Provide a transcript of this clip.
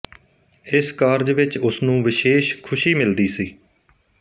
ਇਸ ਕਾਰਜ ਵਿੱਚ ਉਸ ਨੂੰ ਵਿਸ਼ੇਸ਼ ਖੁਸ਼ੀ ਮਿਲਦੀ ਸੀ